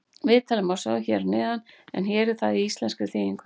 Viðtalið má sjá hér að neðan en hér er það í íslenskri þýðingu.